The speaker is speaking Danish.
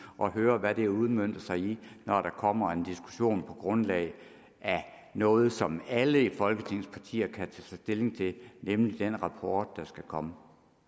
og høre hvad det har udmøntet sig i når der kommer en diskussion på grundlag af noget som alle folketingets partier kan tage stilling til nemlig den rapport der skal komme